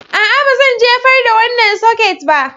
A'a, ba zan jefar da wannan soket ba